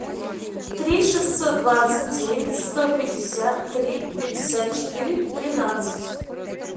три шестьсот двадцать девять сто пятьдесят три пятьдесят четыре тринадцать